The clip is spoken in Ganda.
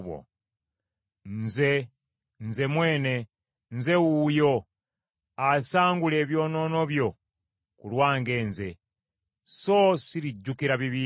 “Nze, Nze mwene, nze wuuyo asangula ebyonoono byo ku lwange nze, so sirijjukira bibi byo.